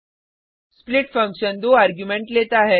split function दो argument लेता है